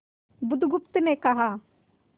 बुधगुप्त ने कहा